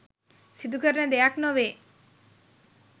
සිදුකරන දෙයක් නොවේ.